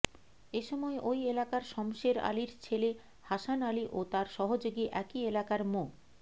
এ সময় ওই এলাকার শমসের আলীর ছেলে হাসান আলী ও তাঁর সহযোগী একই এলাকার মো